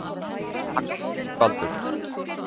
Þórdís: Þakka þér fyrir Baldur.